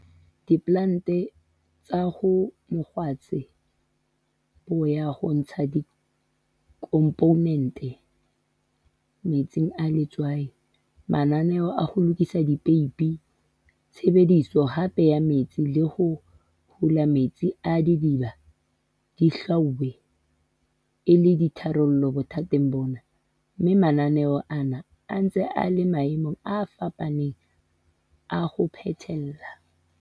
Diplante tsa ho mokgwatshe bo ya ho ntsha dikhomponente metsing a letswai, mananeo a ho lokisa dipeipi, tshebediso hape ya metsi le ho hola metsi a didiba di hlwauwe e le ditharollo bothateng bona, mme mananeo ana a se ntse a le maemong a fapaneng a ho phethela.